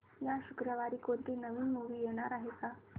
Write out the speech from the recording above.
या शुक्रवारी कोणती नवी मूवी येणार आहे का